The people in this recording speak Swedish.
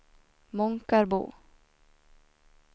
Månkarbo